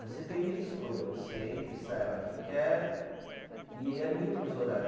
Você tem livre escolha, você entra e sai a hora que quer e é mínimo os horário.